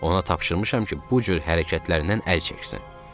Ona tapşırmışam ki, bu cür hərəkətlərindən əl çəksin.